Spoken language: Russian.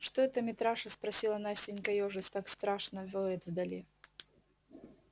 что это митраша спросила настенька ёжась так страшно воет вдали